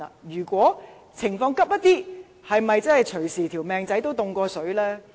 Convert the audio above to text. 如果情況比較緊急，是否隨時"命仔凍過水"呢？